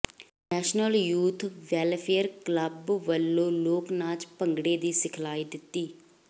national youth welfare club ਵੱਲੋਂ ਲੋਕ ਨਾਚ ਭੰਗੜਾ ਦੀ ਸਿਖਲਾਈ ਦਿੱਤੀ